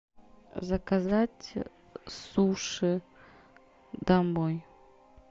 заказать суши домой